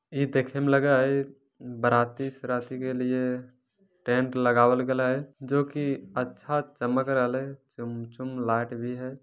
इ देखे में लगे हेय बराती सराती के लिए टेंट लगाबल गले हेय जो कि अच्छा चमक रहले चम-चम लाइट भी हेय।